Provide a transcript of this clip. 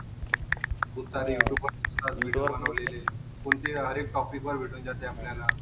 खूपसारे युट्युबवर व्हिडिओ बनवलेले आहेत. कोणते हरएक टॉपिक वर भेटून जाते आपल्याला.